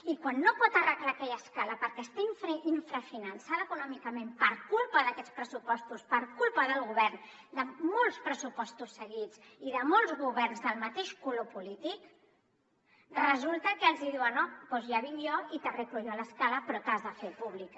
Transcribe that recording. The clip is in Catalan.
i quan no pot arreglar aquella escala perquè està infrafinançada econòmicament per culpa d’aquests pressupostos per culpa del govern de molts pressupostos seguits i de molts governs del mateix color polític resulta que els diuen oh doncs ja vinc jo i t’arreglo jo l’escala però t’has de fer pública